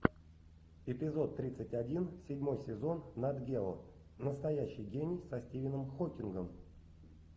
эпизод тридцать один седьмой сезон нат гео настоящий гений со стивеном хокингом